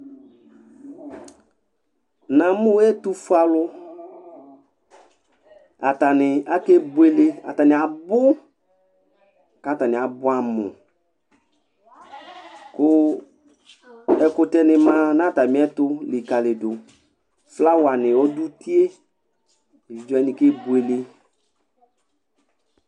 Na mʊ ɛtʊfʊealʊ, atanɩ akebʊele, abʊ katanɩ abʊ ɛ amʊ, kʊ ɛkʊtɛ nɩ ma nʊ atamɩɛtʊ lɩkalɩdʊ Flawa nɩ ɔdʊ ʊtɩe Evɩdze wanɩ kebʊele